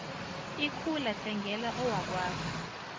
ikhula thengela owakwakho